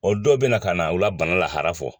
O dɔw bɛ na ka na u la bana lahara fɔ.